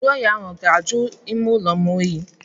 Ntụ oyi ahụ ọ ga-ajụ ime ụlọ m oyi?